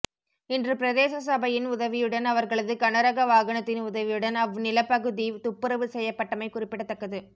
இன்று பிரதேச சபையின் உதவியுடன் அவர்களது கனரக வாகனத்தின் உதவியுடன் அவ் நிலப்பகுதி துப்பரவு செய்யப்பட்டமை குறிப்பிடத்தக்கது